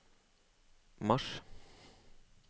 mars